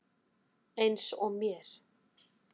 Eins og mér.